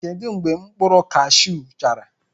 Kedu mgbe mkpụrụ kashụ chara?